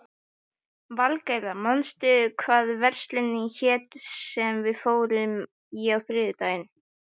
Valgerða, manstu hvað verslunin hét sem við fórum í á þriðjudaginn?